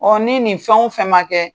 O ni nin fɛn o fɛn ma kɛ